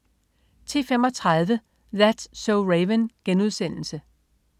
10.35 That's so Raven*